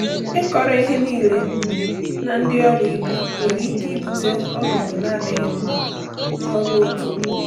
Ịkọrọ ihe niile na ndị ọrụ ibe nwere ike ibute ọnọdụ na-adịghị mma n’ọrụ otu.